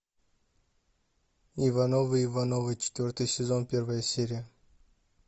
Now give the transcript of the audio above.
ивановы ивановы четвертый сезон первая серия